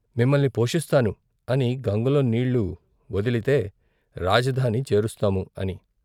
' మిమ్మల్ని పోషిస్తాను ' అని గంగలో నీళ్ళు వొదిలితే రాజధాని చేరుస్తాము " అని.